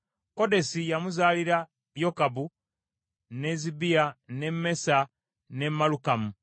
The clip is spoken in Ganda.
Kodesi yamuzaalira Yokabu, ne Zibiya, ne Mesa, ne Malukamu,